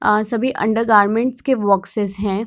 आ सभी under garments के boxes हैं।